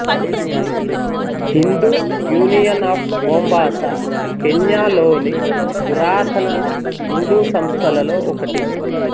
Hindu union of Mombasa కెన్యాలోని పురాతన హిందూ సంస్థలలో ఒకటి